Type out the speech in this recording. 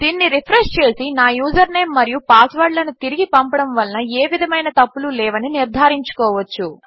దీనిని రిఫ్రెష్ చేసి నా యూజర్ నేం మరియు పాస్వర్డ్లను తిరిగి పంపడము వలన ఏ విధమైన తప్పులు లేవని నిర్ధారించుకోవచ్చు